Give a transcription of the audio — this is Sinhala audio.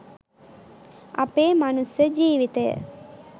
අපේ මනුස්ස ජීවිතය